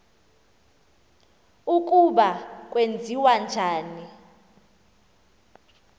ukuba kwenziwa njani